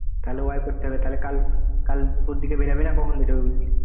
করতে হবে তাহলে কাল কাল দুপুরের দিকে বেরবি না কখন বেরবি বললি?